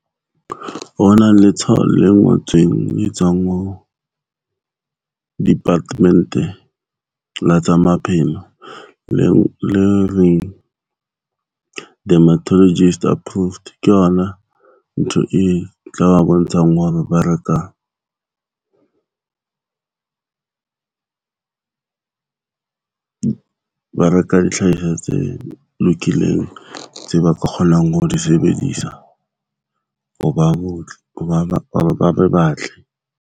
Ho na le tshwao le ngotsweng e tswang ho department-e la tsa maphelo leo le reng dermatologist approved. Ke yona ntho e tla ba bontshang hore ba reka ba reka dihlahiswa tse lokileng tse ba ka kgonang ho di sebedisa ho ba botle, ba be batle.